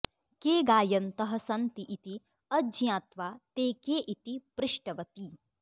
के गायन्तः सन्ति इति अज्ञात्वा ते के इति पृष्टवती